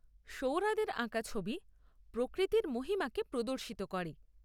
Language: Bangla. সৌরাদের আঁকা ছবি প্রকৃতির মহিমাকে প্রদর্শিত করে।